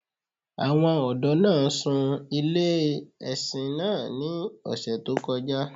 Àwọn ọdọ̀ naa ṣúń ilẹ̀-ẹ̀ṣin naa ní òṣè tó kọ́ja